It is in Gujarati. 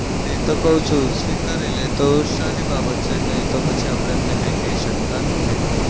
એતો કઉ છું. સ્વીકારી લેતો સારી બાબત છે. નહીં તો પછી આપડે એમને કંઈ કેય શકતા નથી.